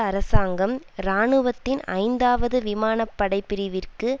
அரசாங்கம் இராணுவத்தின் ஐந்தாவது விமானப்படைப் பிரிவிற்கு